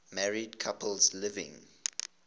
married couples living